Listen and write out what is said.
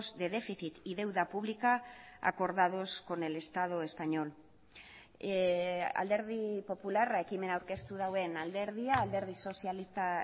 de déficit y deuda pública acordados con el estado español alderdi popularra ekimena aurkeztu duen alderdia alderdi sozialista